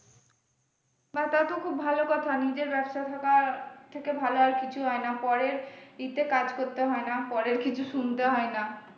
বাহ্! তা তো খুব ভালো কথা, নিজের ব্যবসা থাকা থেকে ভালো আর কিছু হয়না পরের ই তে কাজ করতে হয়না পরের কিছু শুনতে হয়না।